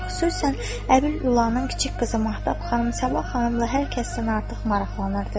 Xüsusən Əbil Ulının kiçik qızı Mahtab xanım Sabah xanımla hər kəsdən artıq maraqlanırdı.